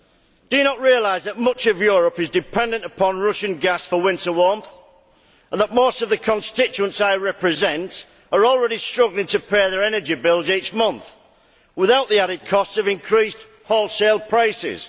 Do you not realise that much of Europe is dependent on Russian gas for winter warmth and that most of the constituents I represent are already struggling to pay their energy bills each month, without the added cost of increased wholesale prices?